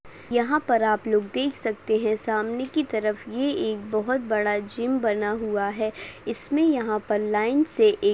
यहाँ पर आप लोग देख सकते है सामने की तरफ ये एक बहुत बड़ा जिम बना हुआ है इसमे यहाँ पर लाइन से--